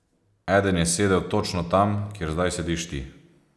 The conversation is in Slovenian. Eden je sedel točno tam, kjer zdaj sediš ti.